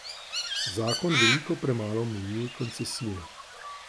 Zakon veliko premalo omejuje koncesije.